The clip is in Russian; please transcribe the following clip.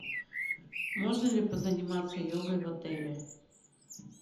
можно ли позаниматься йогой в отеле